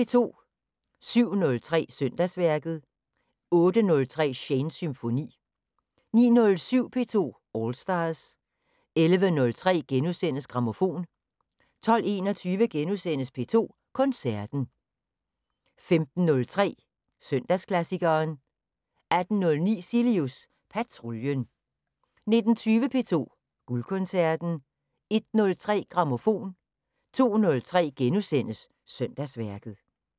07:03: Søndagsværket 08:03: Shanes Symfoni 09:07: P2 All Stars 11:03: Grammofon * 12:21: P2 Koncerten * 15:03: Søndagsklassikeren 18:09: Cilius Patruljen 19:20: P2 Guldkoncerten 01:03: Grammofon 02:03: Søndagsværket *